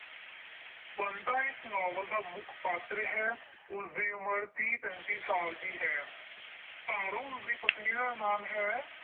ਬੰਤਾ ਇਸ ਨਾਵਲ ਦਾ ਮੁੱਖ ਪਾਤਰ ਹੈ, ਉਸਦੀ ਉਮਰ ਤੀਹ ਪੈਂਤੀ ਸਾਲ ਦੀ ਹੈ। ਤਾਰੋ ਉਸਦੀ ਪਤਨੀ ਦਾ ਨਾਮ ਹੈ।